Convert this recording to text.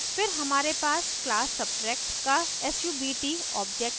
फिर हमारे पास class subtract का subt object है